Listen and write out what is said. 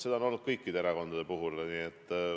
Seda on olnud kõikide erakondade puhul.